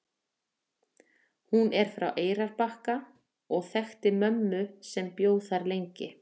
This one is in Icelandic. Hún er frá Eyrarbakka og þekkti mömmu sem bjó þar lengi.